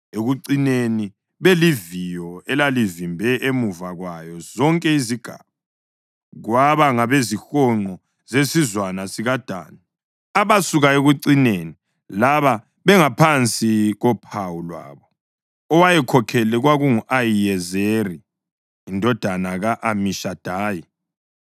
Ekucineni, beliviyo elalivimbe emuva kwazo zonke izigaba, kwaba ngabezihonqo zesizwana sikaDani, abasuka ekucineni labo bengaphansi kophawu lwabo. Owayekhokhele kwakungu-Ahiyezeri indodana ka-Amishadayi.